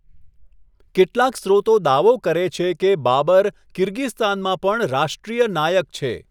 કેટલાક સ્ત્રોતો દાવો કરે છે કે બાબર કિર્ગિસ્તાનમાં પણ રાષ્ટ્રીય નાયક છે.